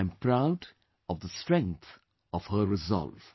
I am proud of the strength of her resolve